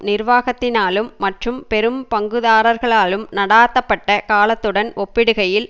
நிர்வாகத்தினாலும் மற்றும் பெரும் பங்குதாரர்களாலும் நடாத்தப்பட்ட காலத்துடன் ஒப்பிடுகையில்